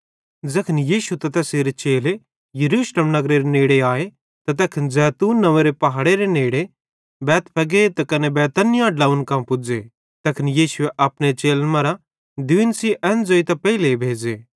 ज़ैखन यीशु त तैसेरे चेले यरूशलेम नगरेरे नेड़े आए त तैखन जैतून नंव्वेरे पहाड़ेरे नेड़े बैतफगे त कने बैतनिय्याह ड्लोंव्वन कां पुज़्ज़े तैखन यीशुए अपने चेलन मरां दुइयन सेइं एन ज़ोइतां पेइले भेज़े कि